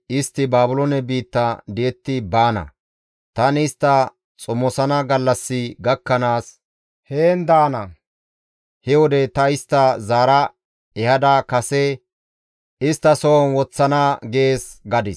‹Istti Baabiloone biitta di7etti baana; tani istta xomosana gallassi gakkanaas heen daana; he wode ta istta zaara ehada kase isttasohon woththana› gees» gadis.